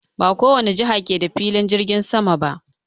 Ba kowane jiha ke da filin jirgin sama ba.